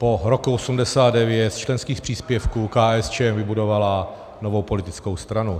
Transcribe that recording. Po roku 1989 z členských příspěvků KSČ vybudovala novou politickou stranu.